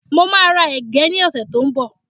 Mo máa ra ẹ̀gẹ́ ní ọ̀sẹ̀ tí ó ń bọ̀